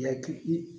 Yakili